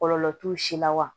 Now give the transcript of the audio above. Kɔlɔlɔ t'u si la wa